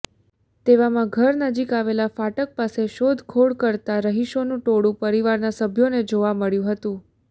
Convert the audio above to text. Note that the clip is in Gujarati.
તેવામા ઘર નજીક આવેલા ફાટક પાસે શોધખોળ કરતા રહિશોનુ ટોળુ પરિવારના સભ્યોને જોવા મળ્યુ હતુ